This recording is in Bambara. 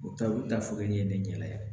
U taa u taa fo ne ɲɛna